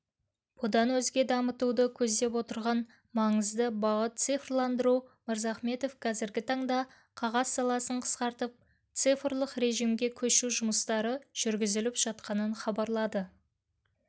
бұдан өзге дамытуды көздеп отырған маңызды бағыт цифрландыру мырзахметов қазіргі таңда қағаз саласын қысқартып цифрлық режимге көшу жұмыстары жүргізіліп жатқанын хабарлады